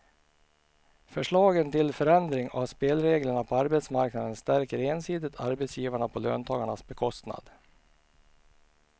Förslagen till förändring av spelreglerna på arbetsmarknaden stärker ensidigt arbetsgivarna på löntagarnas bekostnad.